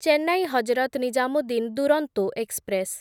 Chennai Hazrat Nizamuddin Duronto express